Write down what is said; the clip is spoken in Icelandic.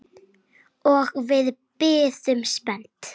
Og við bíðum spennt.